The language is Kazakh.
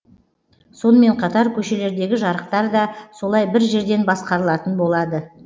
сонымен қатар көшелердегі жарықтар да солай бір жерден басқарылатын болады